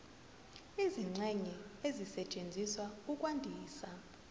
izingxenye ezisetshenziswa ukwandisa